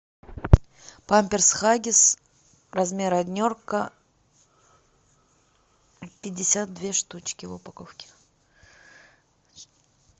памперс хаггис размер однерка пятьдесят две штучки в упаковке